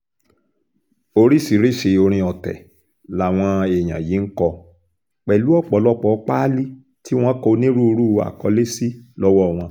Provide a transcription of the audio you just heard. oríṣiríṣiì orin ọ̀tẹ̀ làwọn èèyàn yìí ń kọ pẹ̀lú ọ̀pọ̀lọpọ̀ páálí tí wọ́n kọ onírúurú àkọlé sí lọ́wọ́ wọn